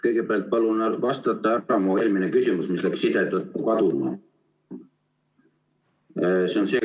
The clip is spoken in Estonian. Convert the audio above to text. Kõigepealt palun vastata mu eelmisele küsimusele, mis läks side tõttu kaduma.